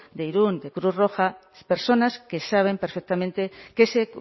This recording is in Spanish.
de irún de cruz roja personas que saben perfectamente que ese